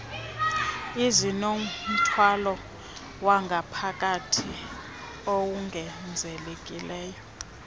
ezinomthwalo wangaphakathi owongezekileyo